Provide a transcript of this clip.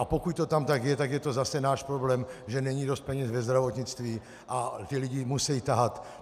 A pokud to tam tak je, tak je to zase náš problém, že není dost peněz ve zdravotnictví a ty lidi musejí tahat.